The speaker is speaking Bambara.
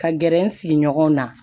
Ka gɛrɛ n sigiɲɔgɔn na